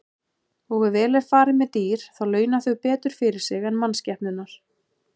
Og ef vel er farið með dýr þá launa þau betur fyrir sig en mannskepnurnar.